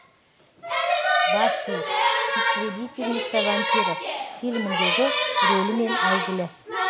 баффи истребительница вампиров фильміндегі рөлімен әйгілі